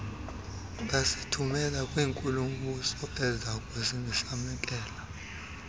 bazithumela kwinkulu mbusoezakusamkela